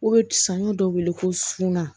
O bɛ sanɲɔ dɔ wele ko suna